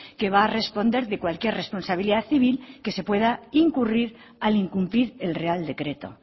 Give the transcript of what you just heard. que va a responder de cualquier responsabilidad civil que se pueda incurrir al incumplir el real decreto